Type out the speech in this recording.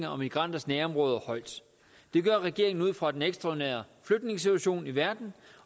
og migranters nærområder højt det gør regeringen ud fra den ekstraordinære flygtningesituation i verden